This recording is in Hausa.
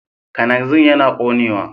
Kananzir yana ƙonewa.